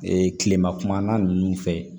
kilema kuma na nunnu fɛ